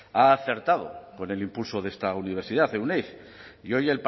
ha acertado con el impulso de esta universidad euneiz y hoy